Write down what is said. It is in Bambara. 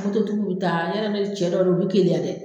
Ani sotigiw bɛ taa , yɔrɔ i bɛ cɛ dɔw don, u bɛ keleya dɛ.